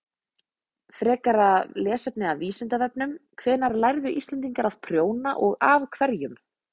Frekara lesefni á Vísindavefnum: Hvenær lærðu Íslendingar að prjóna og af hverjum?